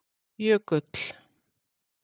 Jökull